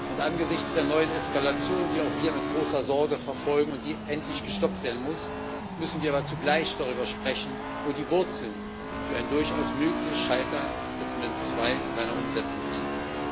Und angesichts der neuen Eskalation, die auch wir mit großer Sorge verfolgen und die endlich gestoppt werden muss, müssen wir aber zugleich darüber sprechen, wo die Wurzeln für ein durchaus mögliches Scheitern des Minsk II Abkommens und seiner Umsetzung liegen.